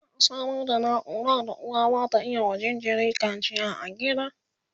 za'a Samar da naura da uwa zata iya wa jinjiri kacia a gida